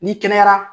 N'i kɛnɛyara